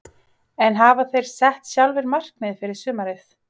En hafa þeir sett sér sjálfir markmið fyrir sumarið?